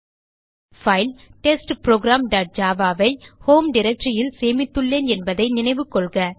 file test program dot java ஐ home directory ல் சேமித்துள்ளேன் என்பதை நினைவுகொள்க